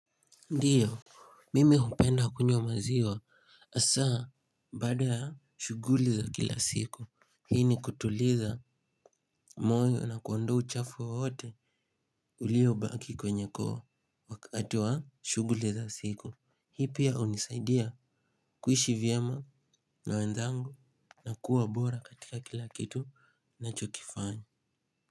Ndiyo, mimi hupenda kunywa maziwa asaa baada ya shuguli za kila siku. Hini kutuliza moyo na kuondoa uchafu wowote ulio baki kwenye koo wakati wa shuguli za siku. Hii pia unisaidia kuishi vyema na wenzangu na kuwa bora katika kila kitu nachokifanya.